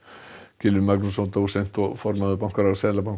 Gylfi Magnússon dósent og formaður bankaráðs Seðlabankans